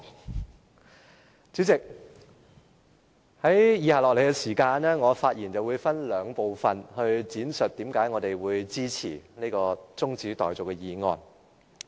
代理主席，接下來我的發言會分為兩部分，闡述為何我們會支持這項中止待續議案。